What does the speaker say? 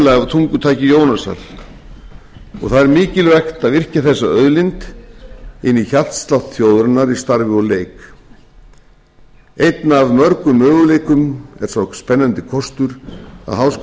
tungutaki jónasar og það er mikilvægt að virkja þessa auðlind inn í hjartslátt þjóðarinnar í starfi og leik einn af mörgum möguleikum er sá spennandi kostur að